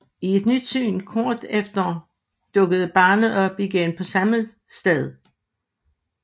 I et nyt syn kort efter dukkede barnet op igen på samme sted